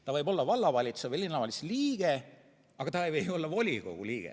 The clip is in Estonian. Ta võib olla vallavalitsuse või linnavalitsuse liige, aga ta ei või olla volikogu liige.